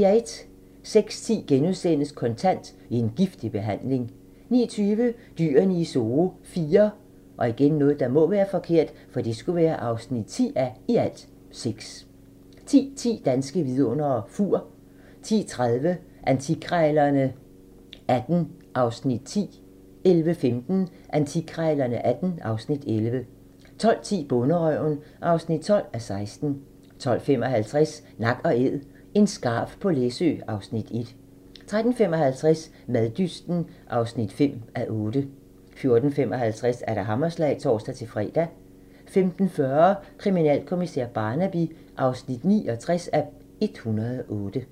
06:10: Kontant: En giftig behandling * 09:20: Dyrene i Zoo IV (10:6) 10:10: Danske vidundere: Fur 10:30: Antikkrejlerne XVIII (Afs. 10) 11:15: Antikkrejlerne XVIII (Afs. 11) 12:10: Bonderøven (12:16) 12:55: Nak & Æd - en skarv på Læsø (Afs. 1) 13:55: Maddysten (5:8) 14:55: Hammerslag (tor-fre) 15:40: Kriminalkommissær Barnaby (69:108)